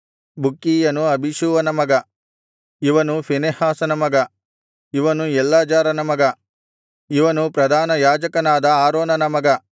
ಬುಕ್ಕೀಯನು ಅಬೀಷೂವನ ಮಗ ಇವನು ಫೀನೆಹಾಸನ ಮಗ ಇವನು ಎಲ್ಲಾಜಾರನ ಮಗ ಇವನು ಪ್ರಧಾನಯಾಜಕನಾದ ಆರೋನನ ಮಗ